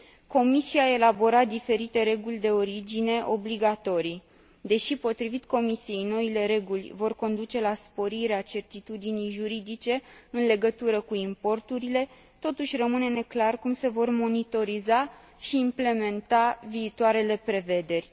Comisia a elaborat diferite reguli de origine obligatorii. Deși, potrivit Comisiei, noile reguli vor conduce la sporirea certitudinii juridice în legătură cu importurile, totuși rămâne neclar cum se vor monitoriza și implementa viitoarele prevederi.